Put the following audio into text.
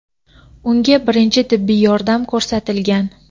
unga birinchi tibbiy yordam ko‘rsatilgan.